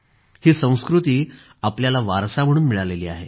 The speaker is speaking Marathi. ही संस्कृती आपल्याला वारसा म्हणून मिळाली आहे